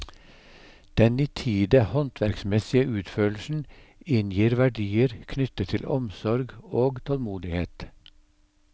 Den nitide håndverksmessige utførelsen inngir verdier knyttet til omsorg og tålmodighet.